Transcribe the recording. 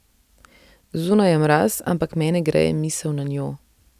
Zunaj je mraz, ampak mene greje misel nanjo.